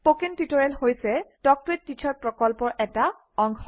spoken tutorial হৈছে talk to a teacher প্ৰকল্পৰ এটা অংশ